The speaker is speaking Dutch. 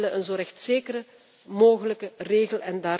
We willen een zo rechtszeker mogelijke regel.